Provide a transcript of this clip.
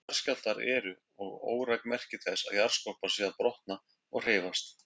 Jarðskjálftar eru og óræk merki þess að jarðskorpan sé að brotna og hreyfast.